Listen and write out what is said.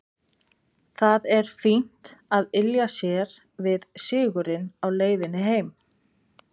Það er fínt að ylja sér við sigurinn á leiðinni heim.